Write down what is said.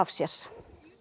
sér